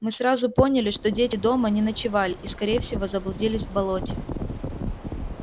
мы сразу поняли что дети дома не ночевали и скорее всего заблудились в болоте